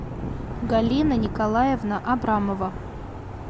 галина николаевна абрамова